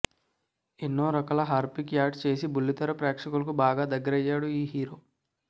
ఎన్నో రకాల Harpic ads చేసి బుల్లితెర ప్రేక్షకులకు బాగా దగ్గరయ్యాడు ఈ హీరో